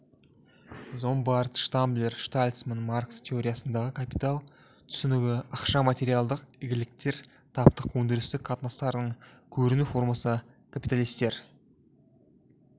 зомбарт штамблер штальцман маркс теориясындағы капитал түсінігі ақша материалдық игіліктер таптық өндірістік қатынастардың көріну формасы капиталистер